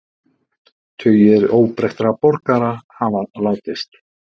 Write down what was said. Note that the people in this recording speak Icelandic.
Tugir óbreyttra borgara hafa látist